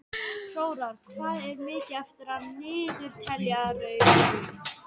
Hróar, hvað er mikið eftir af niðurteljaranum?